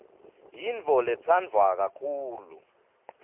yintfo letsandvwa kakhulu